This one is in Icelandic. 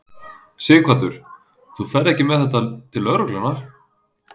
Sighvatur: Þú ferð ekki með þetta til lögreglunnar?